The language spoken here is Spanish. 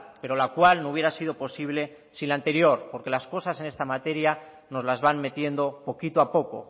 pero la cual no hubiera sido posible sin la anterior porque las cosas en esta materia nos las van metiendo poquito a poco